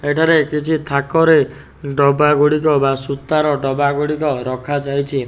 ଏଠାରେ କିଛି ଥାକରେ ଡବାଗୁଡ଼ିକ ବା ସୁତାର ଡବାଗୁଡ଼ିକ ରଖାଯାଇଚି।